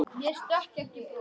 Mér stökk ekki bros.